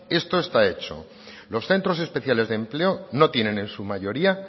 esto está hecho los centros especiales de empleo no tienen en su mayoría